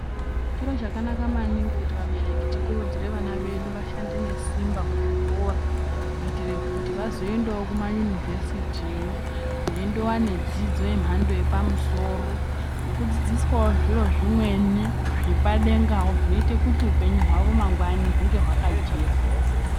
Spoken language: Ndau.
Chiro chakanaka maningi kuti vanereki tikurudzire vana vedu vashande nesimba kuzvikora kuitira kuti vazoendawo kuma yunivhesitiyo, veindowane dzidzo yemhando yepamusoro nekudzidziswawo zviro zvimweni zvepadengawo zvinoita kuti upenyu hwavo mangwani hwunge hwakajeka.